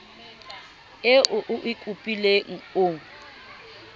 eo o e kopileng o